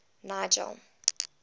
nigel